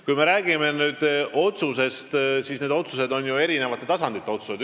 Kui me räägime otsustest, siis need on ju eri tasandite otsused.